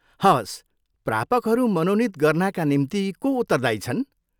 हवस्, प्रापकहरू मनोनित गर्नाका निम्ति को उत्तरदायी छन्?